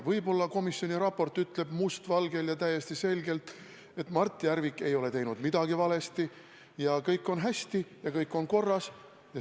Võib-olla komisjoni raport ütleb mustvalgel ja täiesti selgelt, et Mart Järvik ei ole teinud midagi valesti, kõik on hästi ja kõik on korras.